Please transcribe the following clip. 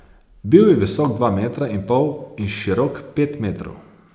Bil je visok dva metra in pol in širok pet metrov.